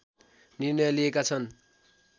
निर्णय लिएका छन्